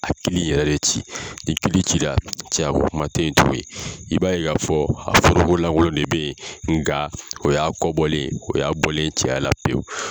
A kili yɛrɛ de ci, ni kili cira cɛya ko kuma tɛ tugunni, i b'a ye ka fɔ a foroko lankolon de bɛ yen, nka o'a kɔ bɔlen, o y'a bɔlen cɛya la pewu.